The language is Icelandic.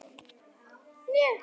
Þú átt heima heima hjá þér!